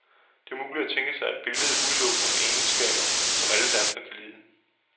Det er umuligt at tænke sig et billede udelukkende med egenskaber, som alle danskere kan lide.